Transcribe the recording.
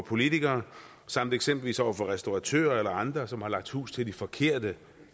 politikere samt eksempelvis vores restauratører eller andre som har lagt hus til de forkerte